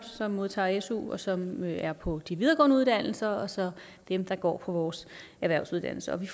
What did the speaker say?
der modtager su og som er på de videregående uddannelser og så dem der går på vores erhvervsuddannelser vi